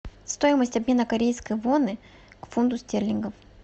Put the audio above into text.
стоимость обмена корейской воны к фунту стерлингов